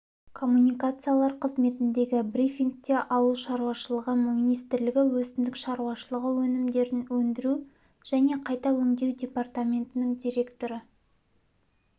коммуникациялар қызметіндегі брифингте ауыл шаруашылығы министрлігі өсімдік шаруашылығы өнімдерін өндіру және қайда өңдеу департаментінің директоры